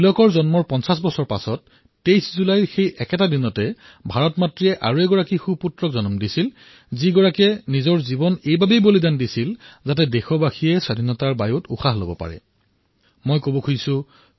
তিলকৰ জন্মৰ ৫০ বৰ্ষৰ পিছত ঠিক সেইদিনই অৰ্থাৎ ২৩ জুলাই তাৰিখে ভাৰতৰ এজন সুপুত্ৰৰ জন্ম হৈছিল যিয়ে নিজৰ জীৱন দেশবাসীয়ে যাতে স্বতন্ত্ৰভাৱে জীৱন নিৰ্বাহ কৰিব পাৰে তাৰবাবে বলিদান দিছিল